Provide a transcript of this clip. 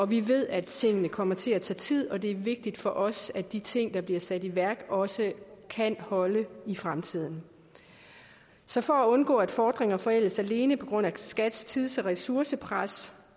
vi ved at tingene kommer til at tage tid og det er vigtigt for os at de ting der bliver sat i værk også kan holde i fremtiden så for at undgå at fordringer forældes alene på grund af skats tids og ressourcepres